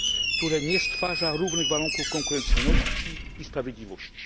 które nie stwarza równych warunków konkurencyjności i sprawiedliwości.